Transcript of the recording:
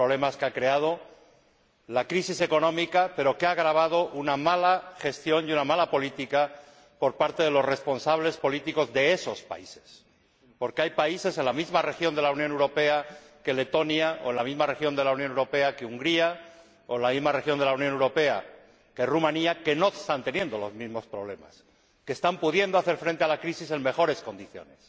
son problemas que ha creado la crisis económica, pero que han agravado una mala gestión y una mala política por parte de los responsables políticos de esos países, porque hay países en la misma región de la Unión Europea que Letonia, o en la misma región de la Unión Europea que Hungría, o en la misma región de la Unión Europea que Rumanía, que no están teniendo los mismos problemas, que están pudiendo hacer frente a la crisis en mejores condiciones,